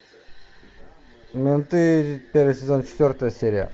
менты первый сезон четвертая серия